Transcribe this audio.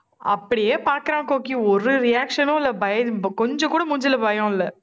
அப்படியே பார்க்கிறான் கோக்கி, ஒரு reaction னும் இல்லை, பய~ கொஞ்சம் கூட மூஞ்சியில பயம் இல்லை